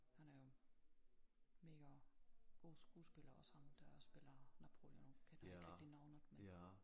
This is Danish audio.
Han er jo mega god skuespiller også ham der spiller Napoleon kender ikke rigtig navnet men